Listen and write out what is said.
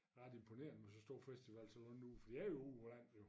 Ret imponerende med så stor festival sådan noget nu for det er jo ude på landet jo